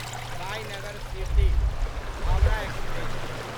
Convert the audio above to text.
Sainagar Shirdi Howrah express